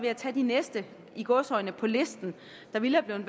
at tage de næste i gåseøjne på listen der ville være